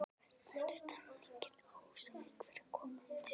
Hvernig er stemmingin á Húsavík fyrir komandi sumar?